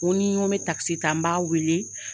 N ko ni n ko bɛ takisi ta n b'a weele.